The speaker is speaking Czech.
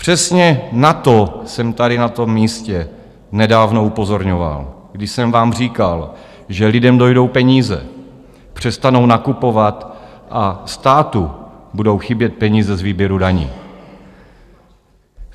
Přesně na to jsem tady na tom místě nedávno upozorňoval, když jsem vám říkal, že lidem dojdou peníze, přestanou nakupovat a státu budou chybět peníze z výběru daní.